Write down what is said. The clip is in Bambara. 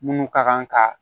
Minnu ka kan ka